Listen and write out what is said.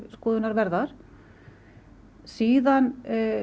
skoðunarverðar síðan